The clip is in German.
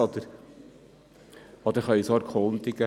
Sonst können wir uns auch danach erkundigen.